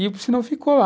E o piscinão ficou lá.